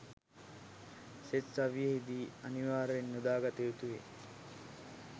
සෙත් කවියෙහි දී අනිවාර්යෙන් යොදාගත යුතු වේ.